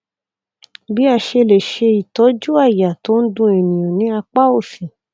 bí a ṣe lè ṣe ìtọjú àyà tó n dun ènìyàn ní apá òsì